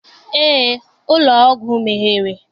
Eé, ụlọ ọgwụ meghere.